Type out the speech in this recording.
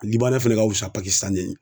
fɛnɛ ka wusa ye.